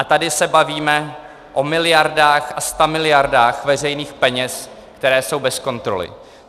A tady se bavíme o miliardách a stamiliardách veřejných peněz, které jsou bez kontroly.